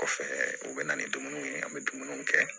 Kɔfɛ u bɛ na ni dumuniw ye an bɛ dumuniw kɛ